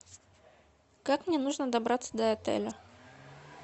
как мне нужно добраться до отеля